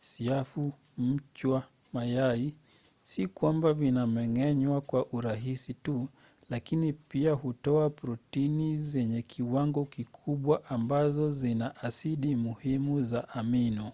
siafu mchwa mayai si kwamba vinameng’enywa kwa urahisi tu lakini pia hutoa protini zenye kiwango kikubwa ambazo zina asidi muhimu za amino